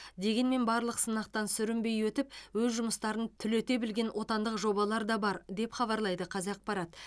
дегенмен барлық сынақтан сүрінбей өтіп өз жұмыстарын түлете білген отандық жобалар да бар деп хабарлайды қазақпарат